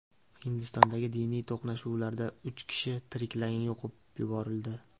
Hindistondagi diniy to‘qnashuvlarda uch kishi tiriklayin yoqib yuborildi.